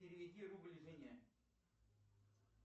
переведи рубль жене